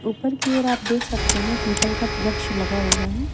ऊपर की ओर आप देख सकते हैं पीपल का वृक्ष लगा हुआ है।